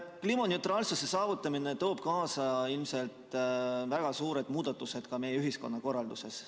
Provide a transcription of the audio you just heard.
Kliimaneutraalsuse saavutamine toob kaasa ilmselt väga suured muudatused ka meie ühiskonnakorralduses.